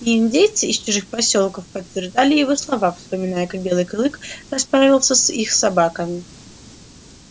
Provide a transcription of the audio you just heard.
и индейцы из чужих посёлков подтверждали его слова вспоминая как белый клык расправился с их собаками